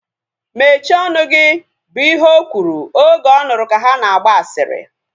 Mechie ọnụ gị! Bụ ihe o kwuru oge ọ nụrụ ka ha na-agba asịrị